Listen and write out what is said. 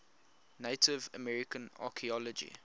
native american archeology